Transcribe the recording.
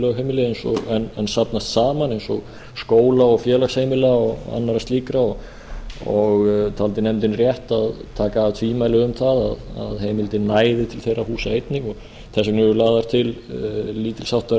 lögheimili en safnast saman eins og skóla og félagsheimila og annarra slíkra og taldi nefndin rétt að taka af öll tvímæli um það að heimildin næði til þeirra húsa einnig þess vegna eru lagðar til lítils háttar